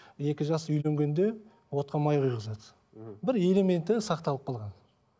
екі жас үйленгенде отқа май құйғызады мхм бір элементі сақталып қалған